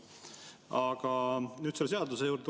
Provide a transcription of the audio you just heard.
Aga nüüd tulen selle seaduse juurde.